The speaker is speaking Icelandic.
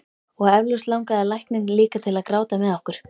Og eflaust langaði lækninn líka til að gráta með okkur.